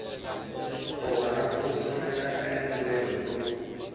kona ku simeka endlelo ro